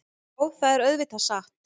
Já, það er auðvitað satt.